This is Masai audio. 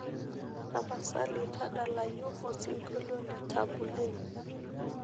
tapasali tadalayu osingolio le tabu ley